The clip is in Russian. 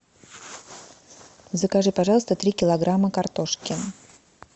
закажи пожалуйста три килограмма картошки